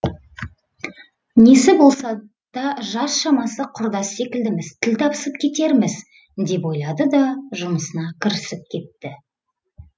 несі болса да жас шамасы құрдас секілдіміз тіл табысып кетерміз деп ойлады да жұмысына кірісіп кетті